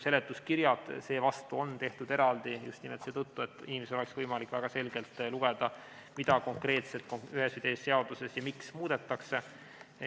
Seletuskirjad seevastu on tehtud eraldi just nimelt seetõttu, et inimesel oleks võimalik väga selgelt lugeda, mida konkreetselt ühes või teises seaduses ja miks muudetakse.